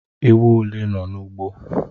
Ewu ole nọ n'ugbo?